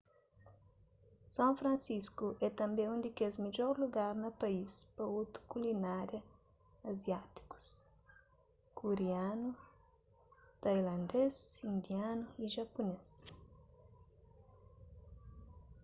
son fransisku é tanbê un di kes midjor lugar na país pa otus kulinária aziátikus kurianu tailandês indianu y japunês